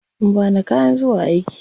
Sun bani kayan zuwa aiki.